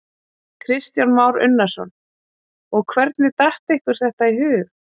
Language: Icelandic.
Kristján Már Unnarsson: Og hvernig datt ykkur þetta í hug?